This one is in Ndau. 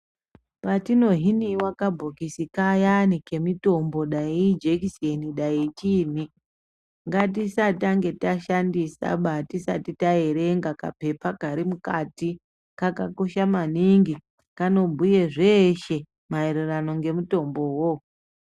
Patino hiniwa kabhokisi kayani kemitombo dani ijekiseni dani chiinyi ngatisatanga tashindisaba tisati taerenga kapepa karimukati kakosha maningi kanobhuye zveshe maererano ngemutombowo.